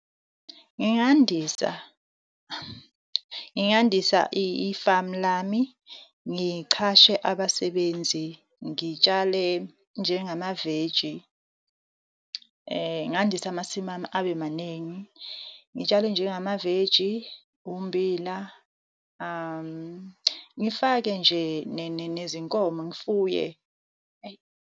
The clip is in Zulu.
Ngingandisa, ngingandisa ifamu lami. Ngichashe abasebenzi, ngitshale njengamaveji ngandise amasimu ami, abe maningi. Ngitshale njengamaveji, ummbila ngifake nje nezinkomo, ngifuye eyi.